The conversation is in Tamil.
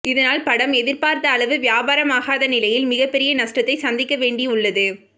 இதனால் படம் எதிர்பார்த்த அளவு வியாபாரம் ஆகாத நிலையில் மிகப்பெரிய நஷ்டத்தை சந்திக்க வேண்டி உள்ளது